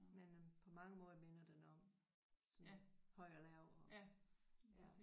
Men øh på mange måder minder den om sådan høj og lav og ja